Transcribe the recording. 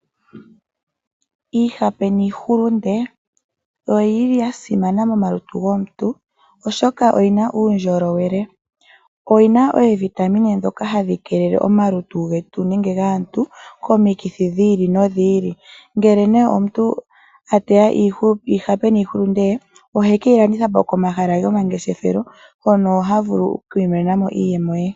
Iihape niihulunde oyili yasimana momalutu gomuntu oshoka oyina uundjolowele oyina oovitamine dhoka hadhikeelele omalutu getu nenge gaantu komikithi dhiili nodhiili. Ngele nee omuntu ateya iihape niihulunde yee, ohekeyilandithapo komahala gomangeshefelo hono havulu okwiimonenamo iiyemo ye.